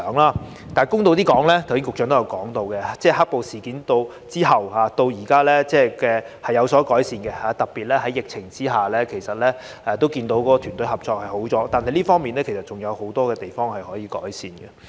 但是，公道地說，正如局長剛才提到，"黑暴"事件後至今是有所改善的，特別在疫情下，其實也看到團隊合作已改善，但這方面仍有很多地方可以改善。